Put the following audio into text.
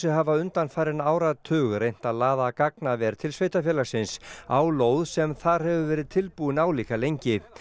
hafa undanfarinn áratug reynt að laða gagnaver til sveitarfélagsins á lóð sem þar hefur verið tilbúin álíka lengi